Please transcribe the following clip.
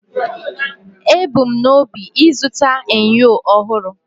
Ebu m n'obi ịzụta enyo ọhụrụ